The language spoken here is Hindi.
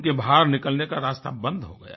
उनके बाहर निकलने का रास्ता बंद हो गया